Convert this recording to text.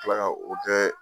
Tila ka o tɛ